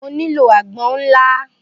Mo nílò àgbọn ńlá